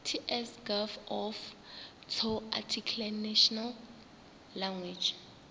ts gov off tsoarticlenational language